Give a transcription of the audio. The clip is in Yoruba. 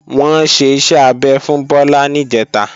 Wọ́n ṣe iṣẹ́ abẹ fún Bọ́lá níjẹ̀ta